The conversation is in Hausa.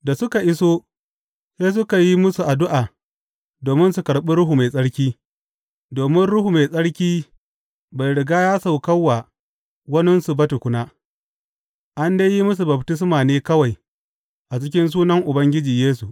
Da suka iso, sai suka yi musu addu’a domin su karɓi Ruhu Mai Tsarki, domin Ruhu Mai Tsarki bai riga ya sauka wa waninsu ba tukuna, an dai yi musu baftisma ne kawai a cikin sunan Ubangiji Yesu.